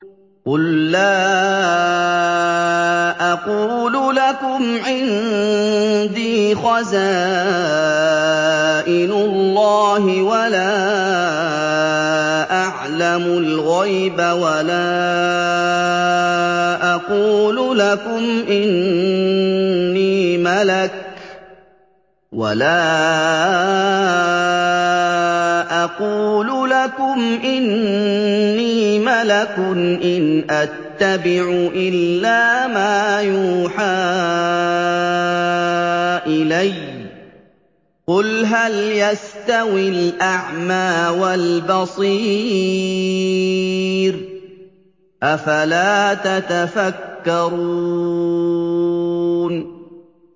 قُل لَّا أَقُولُ لَكُمْ عِندِي خَزَائِنُ اللَّهِ وَلَا أَعْلَمُ الْغَيْبَ وَلَا أَقُولُ لَكُمْ إِنِّي مَلَكٌ ۖ إِنْ أَتَّبِعُ إِلَّا مَا يُوحَىٰ إِلَيَّ ۚ قُلْ هَلْ يَسْتَوِي الْأَعْمَىٰ وَالْبَصِيرُ ۚ أَفَلَا تَتَفَكَّرُونَ